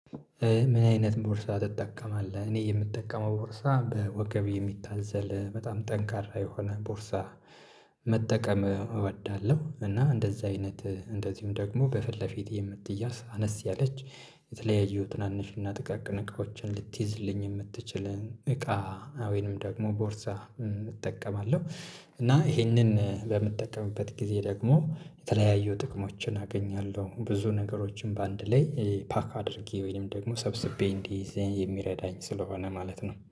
ምን? አይነት ቦርሳ ትጠቀማለህ እኔ የምጠቀመው ቦርሳ በወገብ የሚታዘል በጣም ጠንካራ የሆነ ቦርሳ መጠቀም እወዳለሁ። እና እንደዛ አይነት እንደዚሁም ደግሞ በፊት ለፊት የምትያዝ አነስ ያለች የተለያዩ ትናንሽና ጥቃቅን እቃዎችን ልትይዝልኝ የምትችለን እቃ ወይንም ደግሞ ቦርሳ እጠቀማለሁ። እና ይሄንን በምጠቀምበት ጊዜ ደግሞ የተለያዩ ጥቅሞችን አገኛለሁ ብዙ ነገሮችን በአንድ ላይ ፓክ አድርጌ ወይንም ደግሞ ሰብስቤ እንዲይዝ የሚረዳኝ ስለሆነ ማለት ነው